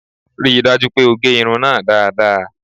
Rí i dájú pé o gẹ irun náà dáadáa